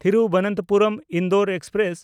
ᱛᱷᱤᱨᱩᱵᱚᱱᱛᱚᱯᱩᱨᱚᱢ–ᱤᱱᱫᱳᱨ express